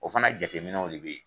O fana jateminɛw de be yen.